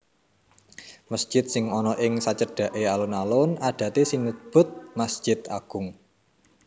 Mesjid sing ana ing sacedhaké alun alun adaté sinebut masjid agung